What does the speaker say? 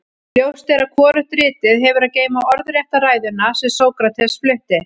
ljóst er að hvorugt ritið hefur að geyma orðrétta ræðuna sem sókrates flutti